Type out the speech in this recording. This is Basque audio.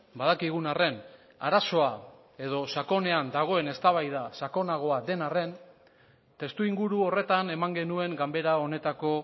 badakigun arren arazoa edo sakonean dagoen eztabaida sakonagoa den arren testuinguru horretan eman genuen ganbera honetako